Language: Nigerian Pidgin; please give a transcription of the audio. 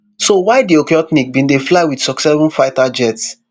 so why di okhotnik bin dey fly wit susseven fighter jet